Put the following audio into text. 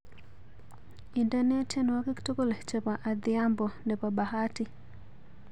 Indene tyenwogik tugul chebo adhiambo nebo bahati